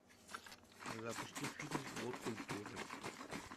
запусти фильм год культуры